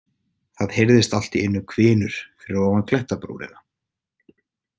Það heyrðist allt í einu hvinur fyrir ofan klettabrúnina.